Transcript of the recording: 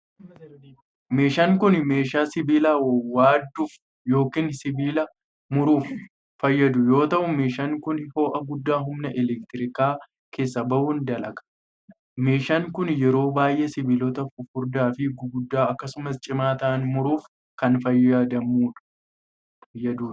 Meeshaan kun, meeshaa sibiila waaduuf yokin sibiila muruuf fayyadu yoo ta'u, meeshaan kun ho'a guddaa humna elektirikaa keessaa bahuun dalaga. Meeshaan kun, yeroo baay'ee sibiilota fufurdaa fi guguddaa akkasumas cimaa ta'an muruuf kan fayyaduu dha.